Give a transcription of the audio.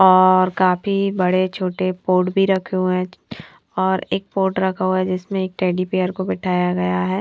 और काफी बड़े छोटे पॉड भी रखे हुए हैं और एक पॉड रखा हुआ है जिसमें एक टेडी बेयर को बैठाया गया है।